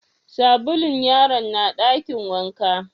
Sabulun yaron na dakin wanka?